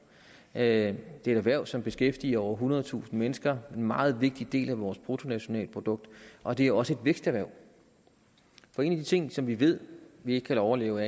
er et erhverv som beskæftiger over ethundredetusind mennesker en meget vigtig del af vores bruttonationalprodukt og det er også et væksterhverv en af de ting som vi ved vi ikke kan overleve